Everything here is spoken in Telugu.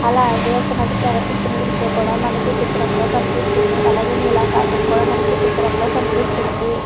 అలాగే ఒక నది ప్రవహిస్తూ ఉన్న దృశ్యం కూడా మనకి చిత్రంలో కనిపిస్తుంది అలాగే నీలాకాశం మనకు ఈ చిత్రంలో కనిపిస్తుంది.